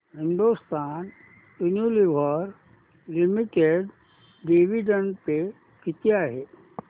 Hindustan Unilever limited dividend pay किती आहे